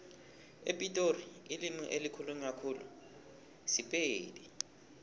epitori ilimi elikhulunywa khulu sipedi